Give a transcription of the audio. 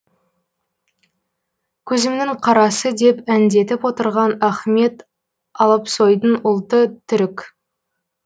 көзімінің қарасы деп әндетіп отырған ахмет алпсойдың ұлты түрік